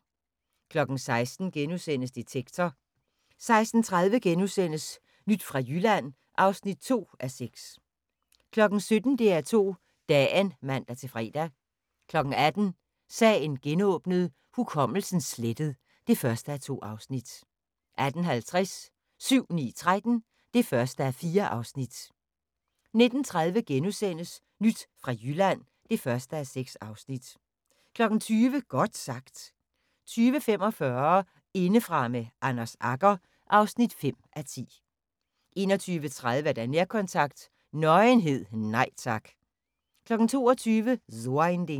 16:00: Detektor * 16:30: Nyt fra Jylland (2:6)* 17:00: DR2 Dagen (man-fre) 18:00: Sagen genåbnet: Hukommelsen slettet (1:2) 18:50: 7-9-13 (1:4) 19:30: Nyt fra Jylland (1:6)* 20:00: Godt sagt 20:45: Indefra med Anders Agger (5:10) 21:30: Nærkontakt – Nøgenhed, nej tak 22:00: So ein Ding